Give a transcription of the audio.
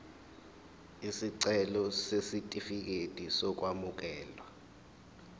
isicelo sesitifikedi sokwamukeleka